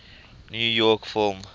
new york film